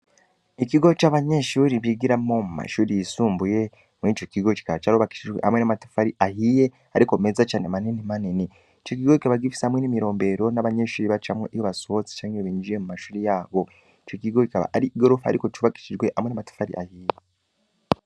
Ikigo c'abanyenshuri bigiramo mu mashuri yisumbuye muri co kigo kikaba caro bakishijwe amwe n'amatufari ahiye, ariko meza cane manini maneni ico gigo kikaba gifise hamwe n'imirombero n'abanyenshuri bacamwe iyo basohotse canke bibinjiye mu mashuri yabo ico kigo kikaba ari i gorofa, ariko cubakishijwe amwe n'amatufali ahiye.